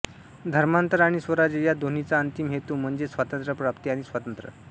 धर्मांतर आणि स्वराज्य या दोन्हींचा अंतिम हेतू म्हणजे स्वातंत्र्यप्राप्ती आणि स्वातंत्र्य